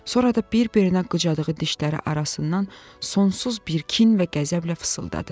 Sonra da bir-birinə qıcadığı dişləri arasından sonsuz bir kin və qəzəblə fısıldadı: